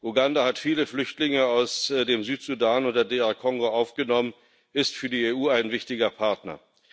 Uganda hat viele Flüchtlinge aus dem Südsudan und der DR Kongo aufgenommen, es ist für die EU ein wichtiger Partner.